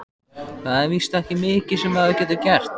Það er víst ekki mikið sem maður getur gert.